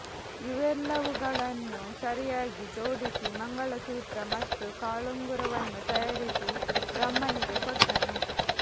ಇವೆಲ್ಲವುಗಳನ್ನು ಸರಿಯಾಗಿ ಜೋಡಿಸಿ ಮಂಗಲಸೂತ್ರ ಮತ್ತು ಕಾಳುಂಗರವನ್ನು ತಯಾರಿಸಿ ಬ್ರಹ್ಮನಿಗೆ ಕೊಟ್ಟನು